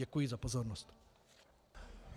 Děkuji za pozornost.